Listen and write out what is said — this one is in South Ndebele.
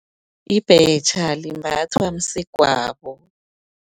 Ibhetjha, limbathwa msegwabo.